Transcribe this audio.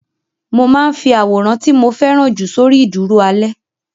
Mo máa ń fi àwòrán tí mo fẹ́ràn jù sórí ìdúró alẹ́.